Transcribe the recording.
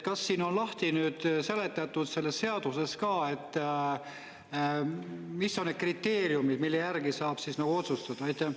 Kas see on lahti seletatud selles seaduses ka, mis on need kriteeriumid, mille järgi saab siis otsustada?